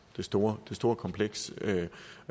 det store store kompleks